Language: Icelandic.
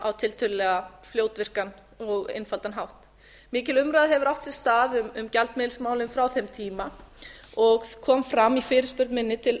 á tiltölulega fljótvirkan og einfaldan hátt mikil umræða hefur átt sér stað um gjaldmiðilsmálin frá þeim tíma og kom fram í fyrirspurn minni til